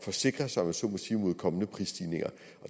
forsikre sig mod kommende prisstigninger